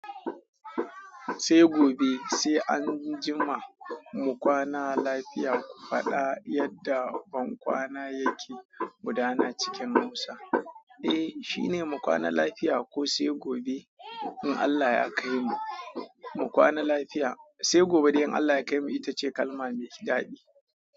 Sai gobe sai an jima mu kwana lafiya, faɗa yadda ban kwana yake gudana cikin Hausa. Eh, shine mu kwana lafiya ko sai gobe in Allah ya kaimu. Mu kwana lafiya sai gobe idan Allah ya kaimu ita ce kalma mai daɗi.